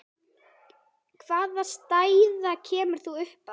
Hvaða staða kæmi þá upp?